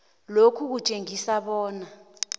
lokhu kutjengisa bona